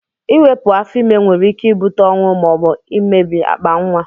Iwepu afọ ime nwere ike ibute ọnwụ ma obu mmebi akpa nwa.